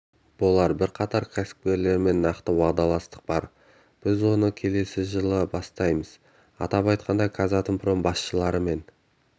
болар бірқатар кәсіпкерлермен нақты уағдаластық бар біз оны келесі жылы бастаймыз атап айтқанда казатомпром басшыларымен